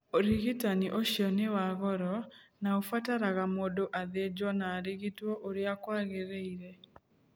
Ũrigitani ũcio nĩ wa goro, na ũbataraga mũndũ athĩnjwo na arigitwo ũrĩa kwagĩrĩire